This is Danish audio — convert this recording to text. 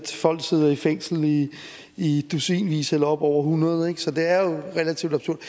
folk sidder i fængsel i i dusinvis eller oppe over hundrede ikke så det er jo relativt absurd